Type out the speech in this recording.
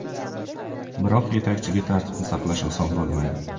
Biroq yetakchiga tartibni saqlash oson bo‘lmaydi.